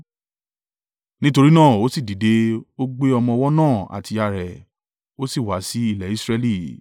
Nítorí náà, o sì dìde, ó gbé ọmọ ọwọ́ náà àti ìyá rẹ̀ ó sì wá sí ilẹ̀ Israẹli.